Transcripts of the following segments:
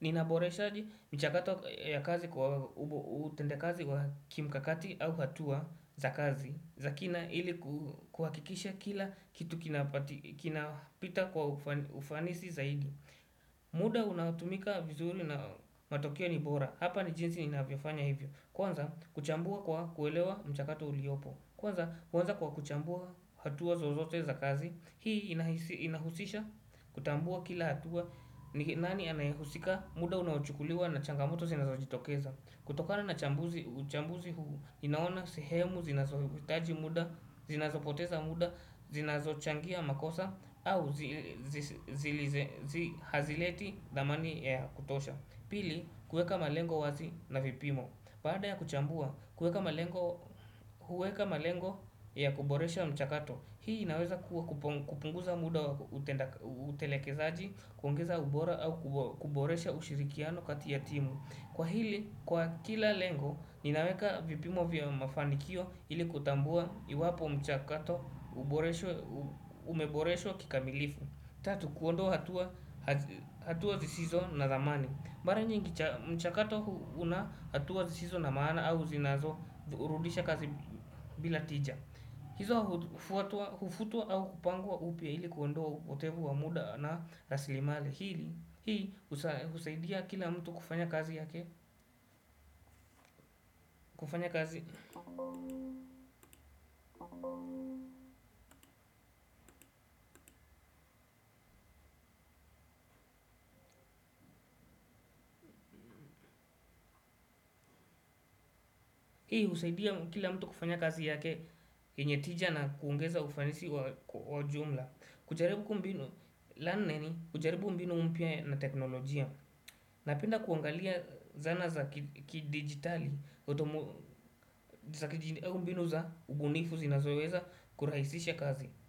Ninaboreshaji mchakato ya kazi kwa utenda kazi wa kimkakati au hatua za kazi za kina ili kuhakikisha kila kitu kina pita kwa ufanisi zaidi. Muda unaotumika vizuri na matokeo ni bora. Hapa ni jinsi inavyofanya hivyo. Kwanza kuchambua kwa kuelewa mchakato uliopo. Kwanza huanza kwa kuchambua hatua zozote za kazi. Hii inahusisha, kutambua kila hatua, nani anayehusika, muda unaochukuliwa na changamoto zinazo jitokeza. Kutokana na chambuzi, uchambuzi huu inaona sehemu, zinazo hitaji muda, zinazo poteza muda, zinazo changia makosa. Au zihazileti dhamani ya kutosha. Pili, kueka malengo wazi na vipimo baada ya kuchambua, kueka malengo ya kuboresha mchakato. Hii inaweza kuwa kupunguza muda utelekezaaji, kuongeza ubora au kuboresha ushirikiano kati ya timu. Kwa hili, kwa kila lengo, ninaweka vipimo vya mafanikio ili kutambua iwapo mchakato umeboreshwa kikamilifu. Tatu, kuondoa hatua zisizo na thamani. Mara nyingi mchakato una hatua zisizo na maana au zinazo urudisha kazi bila tija. Hizo hufutuwa au kupangwa upya ili kuondoa upotevu wamuda na raslimali ili, hii husaidia kila mtu kufanya kazi yake yenye tija na kuongeza ufanisi wa jumla. Kujaribu mbinu mpya na teknolojia napenda kuangalia zana za kidigitali.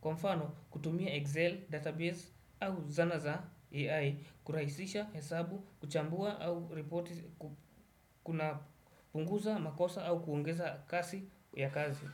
Kwa mfano kutumia Excel, Database au zana za AI Kurahsisha hesabu, kuchambua au reporti kuna punguza, makosa au kuongeza kasi ya kazi.